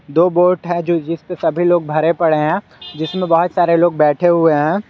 दो बोट है जो जिसपे सभी लोग भरे पड़े हैं जिसमें बहुत सारे लोग बैठे हुए हैं।